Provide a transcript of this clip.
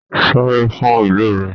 Sáré fún ìlú rẹ!